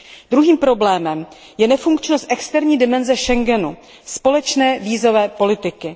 Druhým problémem je nefunkčnost externí dimenze Schengenu, společné vízové politiky.